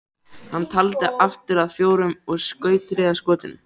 Hann taldi aftur upp að fjórum og skaut þriðja skotinu.